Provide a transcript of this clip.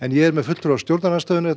ég er með fulltrúa stjórnarandstöðu þetta